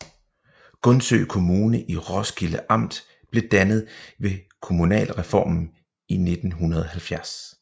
Gundsø Kommune i Roskilde Amt blev dannet ved kommunalreformen i 1970